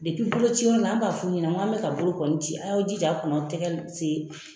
boloci yɔrɔ la, an b'a f'u ɲɛna, n k'an bɛ ka bolo kɔni ci a y'aw jija a kana tɛgɛ se